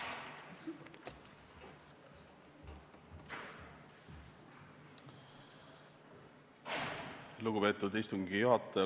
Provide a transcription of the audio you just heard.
Lugupeetud istungi juhataja!